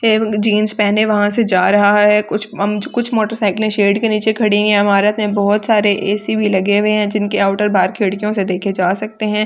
Jeans पहने वहसे जा रहा है कुछ मँज कुछ मोटरसाइकिल शेड के नीचे खड़े है इमारत में बहुत सारे ए_सी भी लगे हुए है जिनके आउटर बाहर खिड़कियोंसे देखे जा सकते है हम।